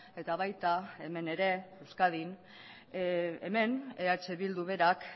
eta baita hemen ere euskadin hemen eh bildu berak